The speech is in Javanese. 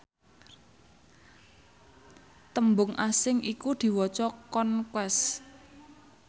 tembung asing iku diwaca conquest